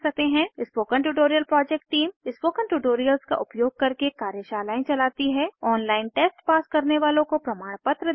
spoken tutorial project टीम160 spoken tutorials का उपयोग करके कार्यशालाएं चलाती है ऑनलाइन टेस्ट पास करने वालों को प्रमाणपत्र देते हैं